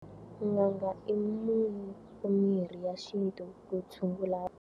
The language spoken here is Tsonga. N'anga i munhu mirhi ya xintu ku tshungula.